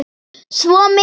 Svo mikið.